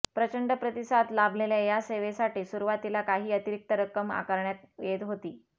प्रचंड प्रतिसाद लाभलेल्या या सेवेसाठी सुरुवातीला काही अतिरिक्त रक्कम आकारण्यात येत होती